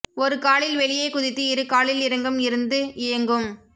ஒரு காலில் வெளியே குதித்து இரு காலில் இறங்கும் இருந்து இயங்கும்